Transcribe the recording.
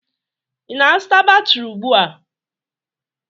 Ị na-azụta batrị ugbu a?